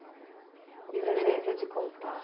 E a experiência de contar.